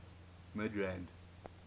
midrand